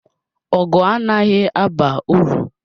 Ọgụ anaghị aba uru.